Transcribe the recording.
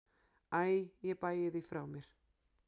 Æ ég bægi því frá mér.